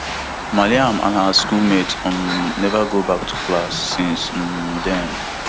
mariam and her school mates um never go back to class since um den